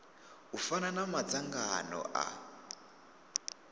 u fana na madzangano a